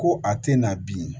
Ko a tɛ na bi